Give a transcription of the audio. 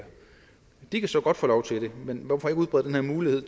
de kan så godt få lov til det men hvorfor ikke udbrede den her mulighed